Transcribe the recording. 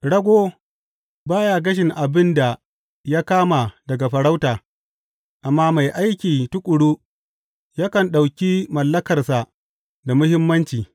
Rago ba ya gashin abin da ya kama daga farauta, amma mai aiki tuƙuru yakan ɗauki mallakarsa da muhimmanci.